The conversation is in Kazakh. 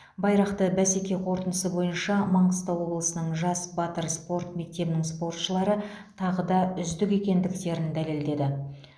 байрақты бәсеке қорытындысы бойынша маңғыстау облысының жас батыр спорт мектебінің спортшылары тағы да үздік екендіктерін дәлелдеді